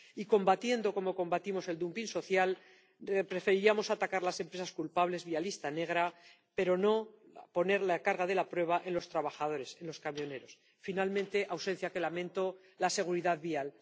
Y combatiendo como combatimos el dumping social, preferiríamos atacar a las empresas culpables vía lista negra, pero sin poner la carga de la prueba en los trabajadores, en los camioneros. Finalmente, una ausencia que lamento la seguridad vial.